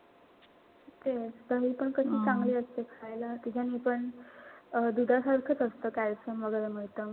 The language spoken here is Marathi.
तेच दहीपण किती चांगली असते खायला. त्याच्यानि पण अं दुधासारखाच असत. calcium वगैरे मिळत.